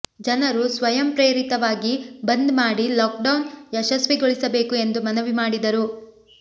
ಜನರು ಸ್ವಯಂ ಪ್ರೇರಿತವಾಗಿ ಬಂದ್ ಮಾಡಿ ಲಾಕ್ಡೌನ್ ಯಶಸ್ವಿಗೊಳಿಸಬೇಕು ಎಂದು ಮನವಿ ಮಾಡಿದರು